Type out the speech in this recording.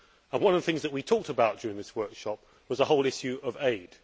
One of the things that we talked about during this workshop was the whole issue of aid.